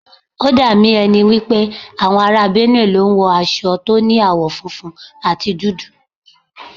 Ó dà mí ẹ ni wípé àwọn ará Benue ló ń wo aṣọ tó ní àwọ̀ funfun àti dúdú.